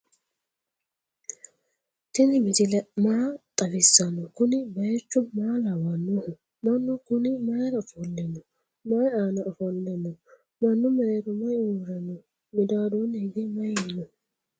tini misile maa xawisano? kuuni bayichu maa lawanoho? manu kunni mayira offolino? mayi aana offole no?manu merero mayi uure no?midadoni hige mayi no?